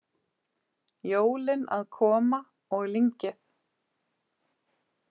Jólin að koma- og lyngið